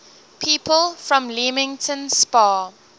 people from leamington spa